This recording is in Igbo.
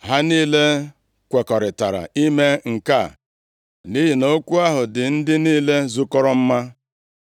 Ha niile kwekọrịtara ime nke a nʼihi na okwu ahụ dị ndị niile zukọrọ mma.